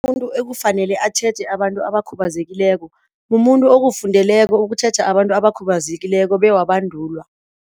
Umuntu ekufanele atjheje abantu abakhubazekileko mumuntu okufundeleko ukutjheja abantu abakhubazekileko bewabandulwa.